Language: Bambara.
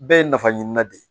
Bɛɛ ye nafa ɲinan de ye